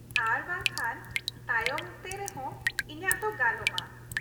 -ᱟᱨ ᱵᱟᱝᱠᱷᱟᱱ ᱛᱟᱭᱚᱢ ᱛᱮ ᱨᱮ ᱦᱚᱸ ᱤᱧᱟᱹᱜ ᱫᱚ ᱜᱟᱱᱚᱜᱼᱟ ᱾